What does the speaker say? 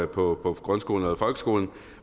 på grundskolen eller folkeskolen